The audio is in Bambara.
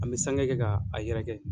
An bɛ sange kɛ k'a a yɛrɛkɛ.